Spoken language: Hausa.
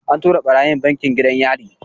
An tura ɓarayin bankin gidan yari.